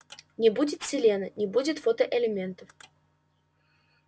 не будет селена не будет фотоэлементов